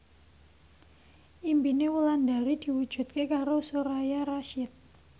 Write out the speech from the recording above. impine Wulandari diwujudke karo Soraya Rasyid